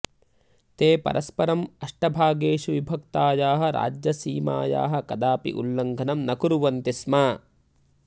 ते परस्परम् अष्टभागेषु विभक्तायाः राज्यसीमायाः कदापि उल्लङ्घनं न कुर्वन्ति स्म